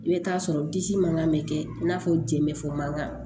I bɛ taa sɔrɔ disi mankan bɛ kɛ i n'a fɔ jɛn bɛ fɔ mankan